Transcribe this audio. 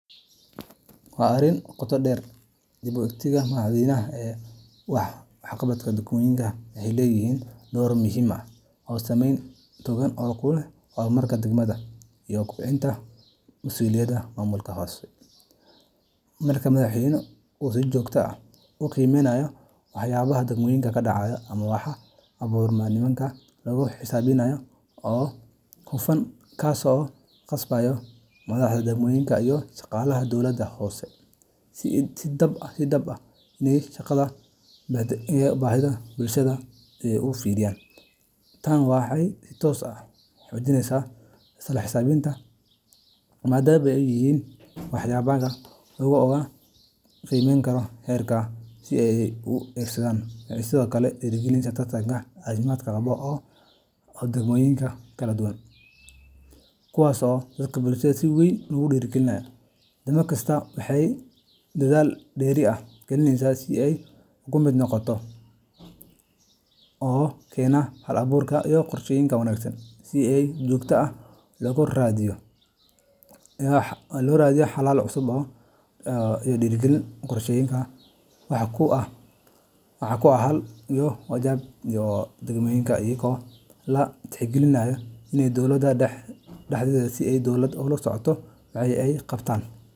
Waa arin qotoo dher leh. Dib u eegista madaxweynaha ee waxqabadka degmooyinka waxay leedahay door muhiim ah oo saameyn togan ku leh horumarka deegaanka iyo kobcinta masuuliyadda maamulka hoose. Marka madaxweynaha uu si joogto ah u qiimeeyo waxqabadka degmooyinka, waxaa abuurma nidaam lagu xisaabtamayo oo hufan, kaas oo ku qasbaya madaxda degmooyinka iyo shaqaalaha dowladaha hoose inay si dhab ah uga shaqeeyaan baahiyaha bulshada. Tani waxay si toos ah u xoojinaysaa isla xisaabtanka, maadaama ay og yihiin in waxqabadkooda la ogaanayo lana qiimeynayo heer qaran. Dib u eegistaani waxay sidoo kale dhiirrigelisaa tartan caafimaad qaba oo u dhexeeya degmooyinka kala duwan. Degmo kasta waxay dadaal dheeri ah gelinaysaa sidii ay uga mid noqon lahayd kuwa waxqabadkooda la amaano ama loo arko kuwo tusaale u noqon kara kuwa kale. Tartan noocan ah wuxuu keenaa hal abuur, qorsheyn wanaagsan, iyo in si joogto ah loo raadiyo xalal cusub oo horumarineed. Degmooyinka waxay billaabaan inay si dhab ah u falanqeeyaan dhibaatooyinkooda una diyaariyaan qorshayaal wax ku ool ah oo ku wajahan baahiyaha deegaanka, iyadoo la tixgelinayo in dowladda dhexe ay si dhow ula socoto waxa ay qabtaan.